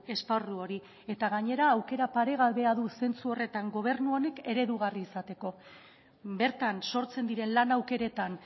esparru hori eta gainera aukera paregabea du zentzu horretan gobernu honek eredugarri izateko bertan sortzen diren lan aukeretan